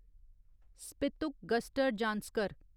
Spituk Gustor Zanskar